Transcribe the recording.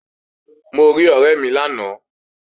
Mo rí ọ̀rẹ́ mi lánàá